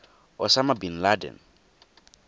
osama bin laden